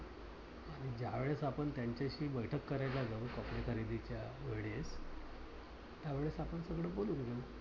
कारण ज्यावेळेस त्यांच्याशी बैठक करायला जाऊ. पत्रिका देण्याच्या वेळी त्यावेळेस आपण सर्व बोलून घेवू.